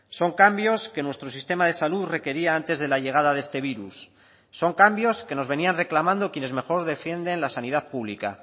son cambios que nuestro sistema de salud requería antes de la llegada de este virus son cambios que nos venían reclamando quienes mejor defienden la sanidad pública